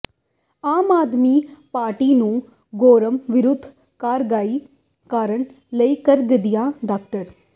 ਆਮ Aadmi Party ਨੂੰ ਗੋਮਰ ਵਿਰੁੱਧ ਕਾਰਵਾਈ ਕਰਨ ਲਈ ਕਹਿੰਦਿਆਂ ਡਾ